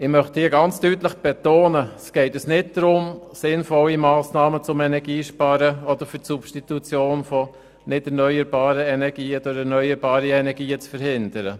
Ich möchte an dieser Stelle deutlich betonen, dass es uns nicht darum geht, sinnvolle Massnahmen für das Energiesparen oder für die Substitution von nicht erneuerbaren Energie zu verhindern.